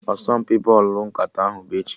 Asọmpi bọlụ nkata ahụ bụ echi